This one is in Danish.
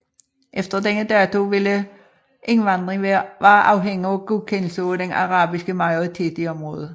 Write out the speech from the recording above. Efter denne dato ville indvandring være afhængig af godkendelse af den arabiske majoritet i området